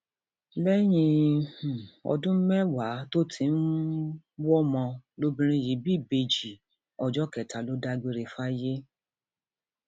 lẹyìn um ọdún mẹwàá mẹwàá tó ti um ń wọmọ lobìnrin yìí bí ìbejì ọjọ kẹta ló dágbére fáyé